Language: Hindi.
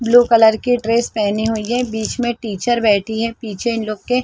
ब्लू कलर की ड्रेस पहनी हुई है बीच में टीचर बैठी है पीछे इन लोग के --